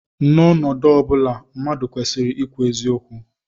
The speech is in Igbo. N'ọnọdụ ọ bụla, mmadụ kwesịrị ikwu eziokwu